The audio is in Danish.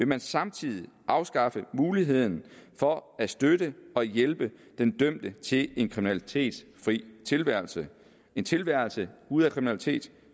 man samtidig afskaffe muligheden for at støtte og hjælpe den dømte til en kriminalitetsfri tilværelse en tilværelse ude af kriminalitet